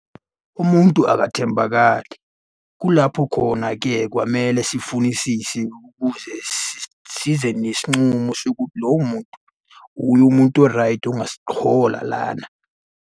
Umuntu akathembakali. Kulapho khona-ke kwamele sifunisise, ukuze size nesincumo sokuthi lowo muntu uye umuntu oraydi ongasihola lana.